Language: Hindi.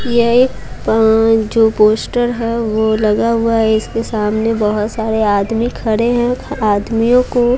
यह एक पं जो पोस्टर है वो लगा हुआ है इसके सामने बहुत सारे आदमी खरे हैं आदमियों को--